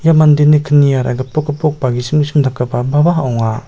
mandeni kniara gipok gipok ba gisim gisim dakgipababa ong·a.